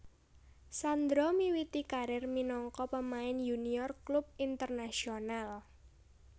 Sandro miwiti karir minangka pemain yunior klub Internacional